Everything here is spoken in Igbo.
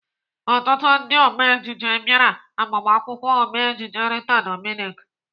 Ọtụtụ ndị ome ejije bịara agbamakwụkwọ Ome ejije Rita Dominic.